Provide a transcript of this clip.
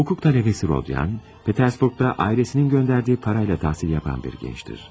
Hukuk talebesi Rodyan, Petersburg'da ailesinin gönderdiği parayla tahsil yapan bir gençtir.